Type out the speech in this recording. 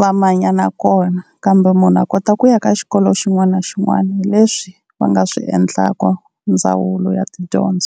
va manyana kona, kambe munhu a kota ku ya ka xikolo xin'wana na xin'wana. Hi leswi va nga swi endlaka ndzawulo ya tidyondzo.